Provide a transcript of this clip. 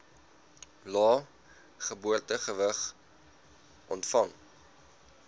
lae geboortegewig ontvang